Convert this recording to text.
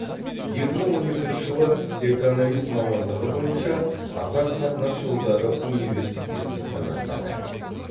екі мың он екінші жылы экономист мамандығы бойынша қазақ қатынас жолдары университетін тәмамдады